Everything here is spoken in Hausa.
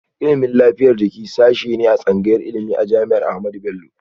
Ilimin lafiyar jiki sashe ne a tsangayar ilimi a jami'ar Ahmadu Bello